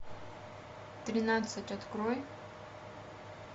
тринадцать открой